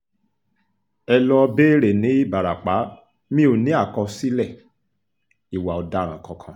ẹ lọ́ọ́ béèrè ní ìbarapá mi ò ní àkọsílẹ̀ ìwà ọ̀daràn kankan